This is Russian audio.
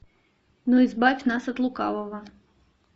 но избавь нас от лукавого